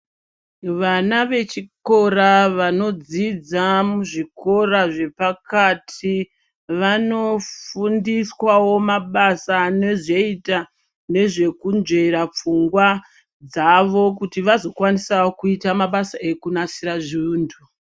Vana vechikora vanodzidza zvikora zvepakati, vanofundiswawo mabasa anozoita ,nezvekunzvera pfungwa dzavo kuti vazokwanisawo kuita mabasa ekunasira zvuntu.